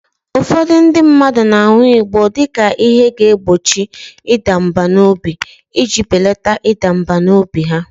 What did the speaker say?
Ụfọdụ ndị mmadụ na-aṅụ igbọ dị ka ihe na-egbochi ịda mbà n'obi iji belata ịda mbà n'obi ha